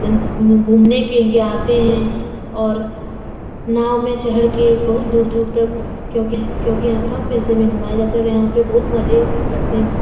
घूमने के लिए आते है और नाव में चहड़ के बहोत दूर-दूर तक क्यूंकि यहाँ कम पैसे में घूमाया जाता है और यहाँ पे बहोत मजे लगते हैं। घू --